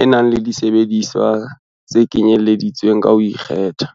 e nang le disebediswa tse kenyelleditsweng ka ho ikgetha.